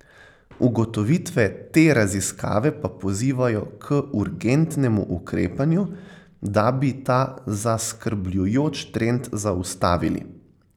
Ugotovitve te raziskave pa pozivajo k urgentnemu ukrepanju, da bi ta zaskrbljujoč trend zaustavili.